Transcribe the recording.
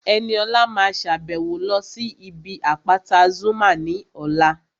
Ẹniọlá máa sàbẹ̀wo lọ sí ibi àpáta Zuma ní ọ̀la